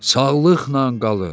Sağlıqla qalın!